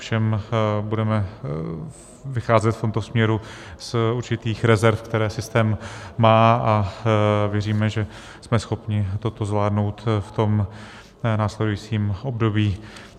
Ovšem budeme vycházet v tomto směru z určitých rezerv, které systém má, a věříme, že jsme schopni toto zvládnout v tom následujícím období.